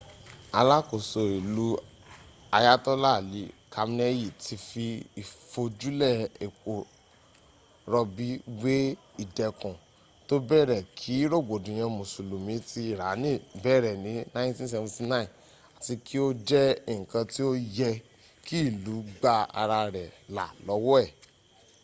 alakoso ilu ayatola ali kamneyi ti fi ifojule epo robi we idẹkun to bẹrẹ ki rogbodiyan musulumi ti irani bẹrẹ ni 1979 ati ti o jẹ nkan ti o yẹ ki ilu gba ara rẹ la lọwọ e